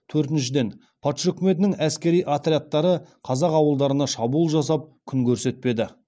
төртіншіден патша үкіметінің әскери отрядтары қазақ ауылдарына шабуыл жасап күн көрсетпеді